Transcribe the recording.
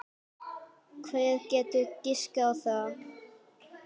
Hver getur giskað á það?